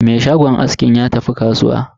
Me shagon askin ya tafi kasuwa.